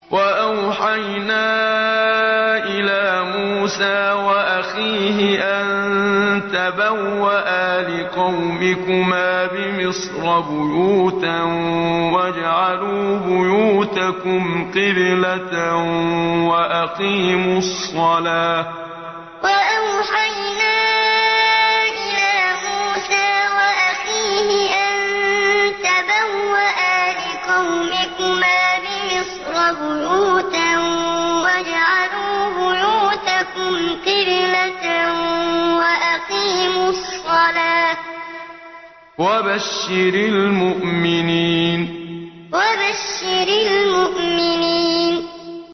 وَأَوْحَيْنَا إِلَىٰ مُوسَىٰ وَأَخِيهِ أَن تَبَوَّآ لِقَوْمِكُمَا بِمِصْرَ بُيُوتًا وَاجْعَلُوا بُيُوتَكُمْ قِبْلَةً وَأَقِيمُوا الصَّلَاةَ ۗ وَبَشِّرِ الْمُؤْمِنِينَ وَأَوْحَيْنَا إِلَىٰ مُوسَىٰ وَأَخِيهِ أَن تَبَوَّآ لِقَوْمِكُمَا بِمِصْرَ بُيُوتًا وَاجْعَلُوا بُيُوتَكُمْ قِبْلَةً وَأَقِيمُوا الصَّلَاةَ ۗ وَبَشِّرِ الْمُؤْمِنِينَ